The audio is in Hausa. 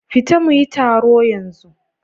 Fita mu yi taro yanzu!